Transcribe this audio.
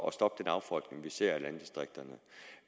at stoppe den affolkning vi ser af landdistrikterne